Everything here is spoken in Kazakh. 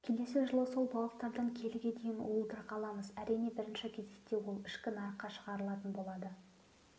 келесі жылы сол балықтардан келіге дейін уылдырық аламыз әрине бірінші кезекте ол ішкі нарыққа шығарылатын болады